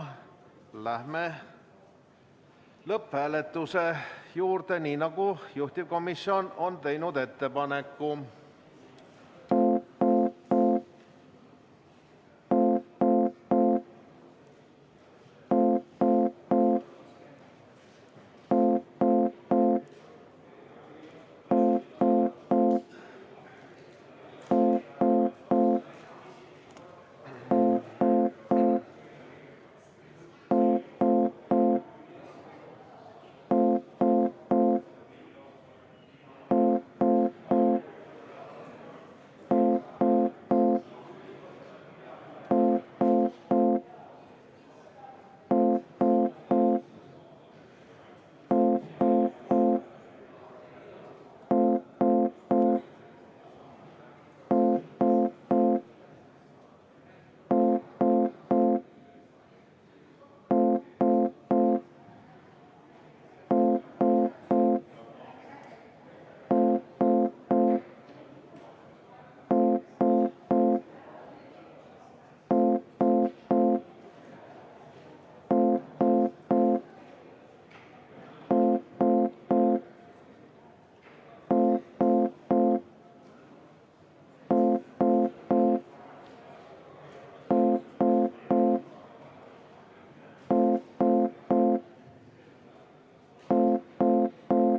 Läheme lõpphääletuse juurde, nii nagu juhtivkomisjon on ettepaneku teinud.